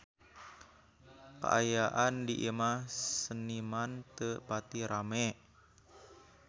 Kaayaan di Imah Seniman teu pati rame